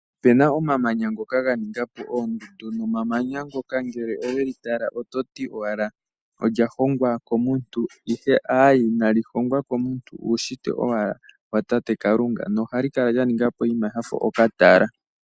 Opuna omamanya ngoka ga ninga po oondundu, nemanya ngoka ngele oweli tala oto ti owala olya hogwa komuntu, ihe aaye ina li hongwa komuntu uushitwe owala lyakalunga, noha li kala lya ninga po oshinima shafa okatala.